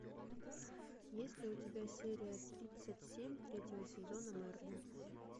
есть ли у тебя серия тридцать семь третьего сезона мерлин